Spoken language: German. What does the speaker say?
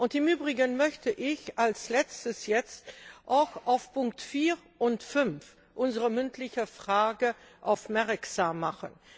Im Übrigen möchte ich als letztes jetzt auch auf Punkt 4 und 5 unserer mündlichen Anfrage aufmerksam machen.